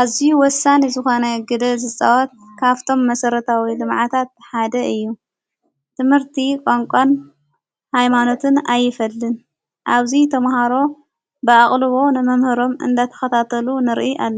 ኣዙይ ወሳን ዝኾነ ግደ ዘጸዋት ካፍቶም መሠረታዊ ዝመዓታት ሓደ እዩ ትምህርቲ ቛንቋን ኃይማኖትን ኣይፈልን ኣብዙይ ተምሃሮ ብኣቕሉቦ ንመምህሮም እንዳተኸታተሉ ንርኢ ኣለና።